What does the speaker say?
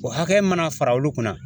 O hakɛya mana fara olu kunna